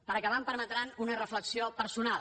per acabar em permetran una reflexió personal